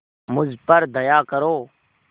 मुझ पर दया करो